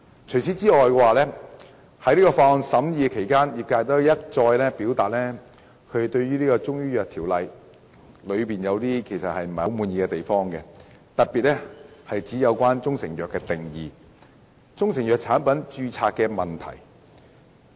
除此之外，在審議《條例草案》期間，業界一再表達對《中醫藥條例》不滿意的地方，特別是"中成藥"的定義及中成藥產品註冊的問題。